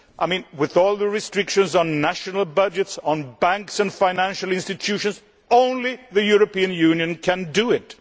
I mean, with all the restrictions on national budgets, on banks and financial institutions, only the European Union can do it.